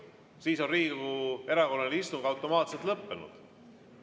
Siis on Riigikogu erakorraline istung automaatselt lõppenud.